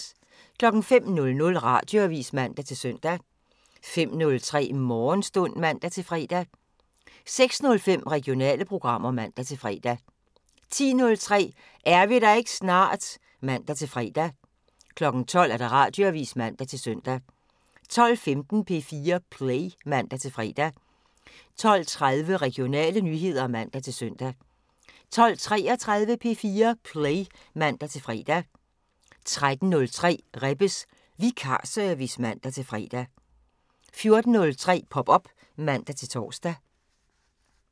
05:00: Radioavisen (man-søn) 05:03: Morgenstund (man-fre) 06:05: Regionale programmer (man-fre) 10:03: Er vi der ikke snart? (man-fre) 12:00: Radioavisen (man-søn) 12:15: P4 Play (man-fre) 12:30: Regionale nyheder (man-søn) 12:33: P4 Play (man-fre) 13:03: Rebbes Vikarservice (man-fre) 14:03: Pop op (man-tor)